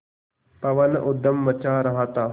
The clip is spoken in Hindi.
पवन ऊधम मचा रहा था